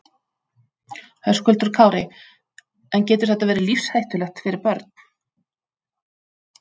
Höskuldur Kári: En getur þetta verið lífshættulegt fyrir börn?